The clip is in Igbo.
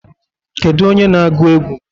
Kedu onye na-agụ egwu?